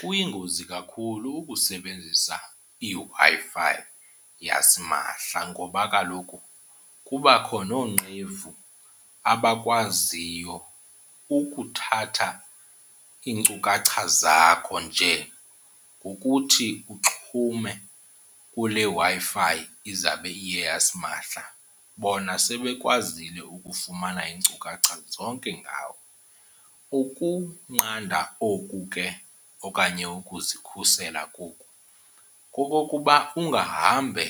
Kuyingozi kakhulu ukusebenzisa iWi-Fi yasimahla ngoba kaloku kubakho noonqevu abakwaziyo ukuthatha iinkcukacha zakho, nje ngokuthi uxhume kule Wi-Fi izawube iye yasimahla bona sebekwazile ukufumana iinkcukacha zonke ngawe. Ukunqanda oku ke okanye ukuzikhusela koku kokokuba ungahambe